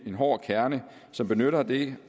en hård kerne som benytter det